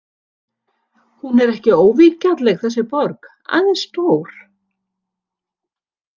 Hún er ekki óvingjarnleg þessi borg, aðeins stór.